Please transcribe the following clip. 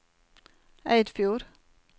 Eidfjord